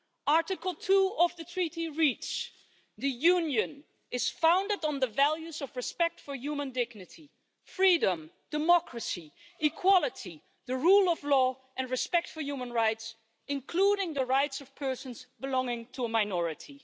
Article 2 of the Treaty on European Union reads the Union is founded on the values of respect for human dignity, freedom, democracy, equality, the rule of law and respect for human rights, including the rights of persons belonging to a minority'.